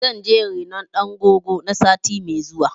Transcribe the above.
Zan je na yi rainon ɗan goggo na sati mai zuwa.